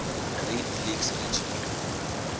great lakes region